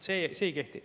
See ei kehti.